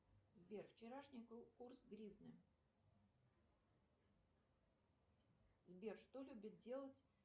сбер вчерашний курс гривны сбер что любит делать